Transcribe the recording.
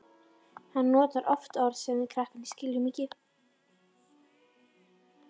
Hann notar oft orð sem við krakkarnir skiljum ekki.